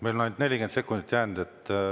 Meil on ainult 40 sekundit jäänud.